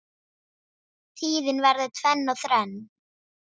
Tíðin verður tvenn og þrenn